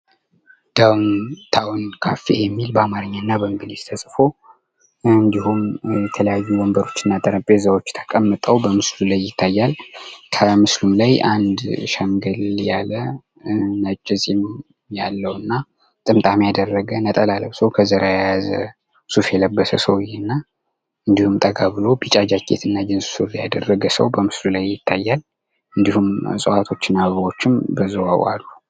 ዳውን ታውን ካፌ የሚል በአማርኛ እና በእንግሊዝ ተጽፎ እንድሁም የተለያዩ ወንበሮች እና ጠረጴዛዎች ተቀምጠው በምስሉ ላይ ይታያል። ከምስሉ ላይ አንድ ሸምገል ያለ ነጭ ጺም ያለው እና ጥምጣም ያደረገ ነጠላ ለብሶ ከዘራ የያዘ ሱፍ የለበሰ ሰውየ እና እንድሁም ጠጋ ብሎ ቢጫ ጃኬት እና ጅንስ ሱሪ ያደረገ ሰው በምስሉ ላይ ይታያል። እንድሁም እጽዋቶችና አበባዎችም በዛው አሉ።